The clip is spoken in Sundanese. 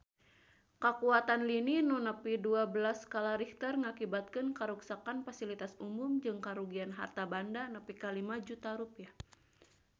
Kakuatan lini nu nepi dua belas skala Richter ngakibatkeun karuksakan pasilitas umum jeung karugian harta banda nepi ka 5 juta rupiah